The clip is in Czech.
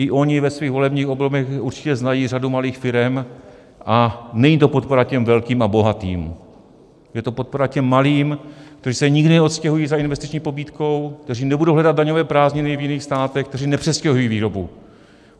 I oni ve svých volebních obvodech určitě znají řadu malých firem, a není to podpora těm velkým a bohatým, je to podpora těm malým, kteří se nikdy neodstěhují za investiční pobídkou, kteří nebudou hledat daňové prázdniny v jiných státech, kteří nepřestěhují výrobu.